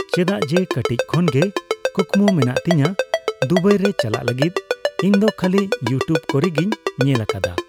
ᱪᱮᱫᱟᱜ ᱡᱮ ᱠᱟᱴᱤᱡ ᱠᱷᱚᱱ ᱜᱮ ᱠᱩᱠᱢᱩ ᱢᱮᱱᱟᱜ ᱛᱤᱧᱟᱹ ᱫᱩᱵᱟᱭ ᱨᱮ ᱪᱟᱞᱟᱜ ᱞᱟᱜᱤᱫ ᱾ᱤᱧ ᱫᱚ ᱠᱷᱟᱞᱤ ᱤᱭᱩᱴᱩᱵᱽ ᱠᱚᱨᱮᱜᱮᱧ ᱧᱮᱞ ᱟᱠᱟᱫᱟ